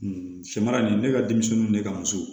Sɛmara nin ne ka denmisɛnninw ne ka muso